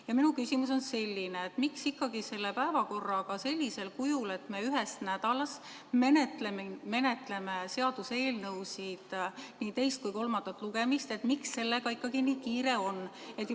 Ja minu küsimus on selline: miks ikkagi selle päevakorraga sellisel kujul, et me ühes nädalas menetleme seaduseelnõusid nii teist kui kolmandat lugemist arutades, nii kiire on?